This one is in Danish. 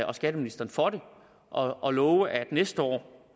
og skatteministeren for det og love at næste år